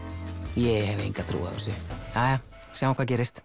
ég hef enga trú á þessu jæja sjáum hvað gerist